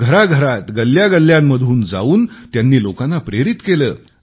घराघरांत गल्ल्यागल्ल्यांतून जाऊन त्यांनी लोकांना प्रेरित केले